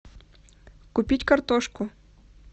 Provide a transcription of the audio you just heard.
купить картошку